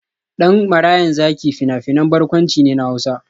Dan Marayan Zaki fina-finan barkwanci ne na Hausa.